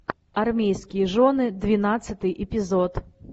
армейские жены двенадцатый эпизод